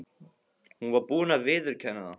Hún var búin að viðurkenna það.